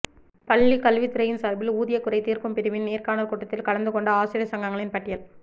பள்ளிக்கல்வித்துறையின் சார்பில் ஊதிய குறை தீர்க்கும் பிரிவின் நேர்காணல் கூட்டத்தில் கலந்துகொண்ட ஆசிரியர் சங்கங்களின் பட்டியல்